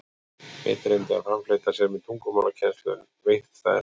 Einn reyndi að framfleyta sér með tungumálakennslu, en veittist það erfitt.